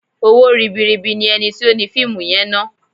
Owó ribi ribi ni ẹni tí ó ni fíìmù yẹn ná.